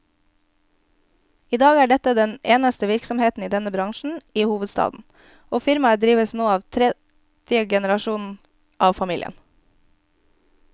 I dag er dette den eneste virksomheten i denne bransjen i hovedstaden, og firmaet drives nå av tredje generasjon av familien.